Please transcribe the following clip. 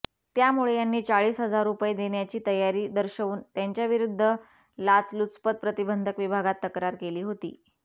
त्यामुळे त्यांनी चाळीस हजार रुपये देण्याची तयारी दर्शवून त्यांच्याविरुद्ध लाचलुचपत प्रतिबंधक विभागात तक्रार केली होती